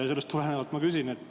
Sellest tulenevalt ma küsin.